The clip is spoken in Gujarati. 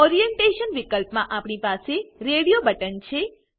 ઓરિએન્ટેશન વિકલ્પમાં આપણી પાસે રેડીઓ બટન છે